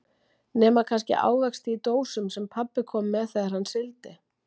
Nema kannski ávexti í dósum sem pabbi kom með þegar hann sigldi.